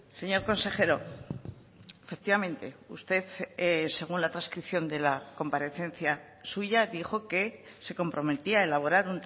señor consejero efectivamente usted según la transcripción de la comparecencia suya dijo que se comprometía a elaborar